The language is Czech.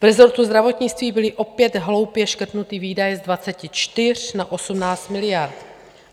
V rezortu zdravotnictví byly opět hloupě škrtnuty výdaje z 24 na 18 miliard.